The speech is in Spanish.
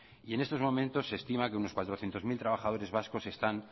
y en estos momentos se estima que unos cuatrocientos mil trabajadores vascos están